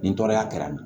Ni tɔɔrɔya kɛra